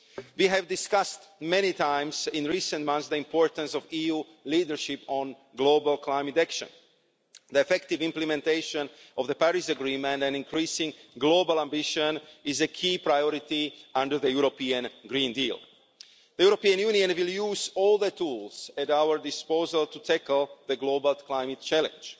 We have discussed many times in recent months the importance of EU leadership on global climate action. The effective implementation of the Paris Agreement and increasing global ambition is a key priority under the European Green Deal. The European Union will use all the tools at our disposal to tackle the global climate challenge.